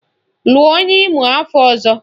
Lụọ onye Imo afọ ọzọ!